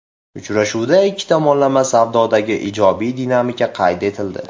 Uchrashuvda ikki tomonlama savdodagi ijobiy dinamika qayd etildi.